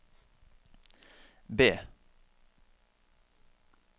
B